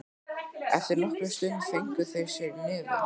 Eftir nokkra stund fengu þeir sér í nefið.